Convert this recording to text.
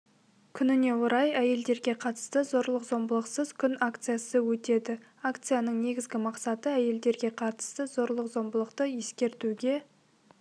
күніне орай әйелдерге қатысты зорлық-зомбылықсыз күн акциясы өтеді акцияның негізгі мақсаты әйелдерге қатысты зорлық-зомбылықты ескертуге